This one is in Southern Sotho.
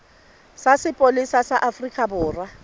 sa sepolesa sa afrika borwa